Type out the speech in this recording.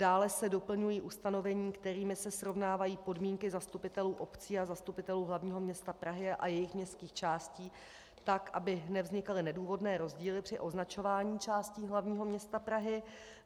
Dále se doplňují ustanovení, kterými se srovnávají podmínky zastupitelů obcí a zastupitelů hlavního města Prahy a jejich městských částí tak, aby nevznikaly nedůvodné rozdíly při označování částí hlavního města Prahy.